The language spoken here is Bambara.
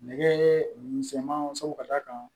Nɛgɛ misɛnmanw ka d'a kan